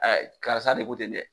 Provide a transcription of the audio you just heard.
Karisa de ko ten dɛ.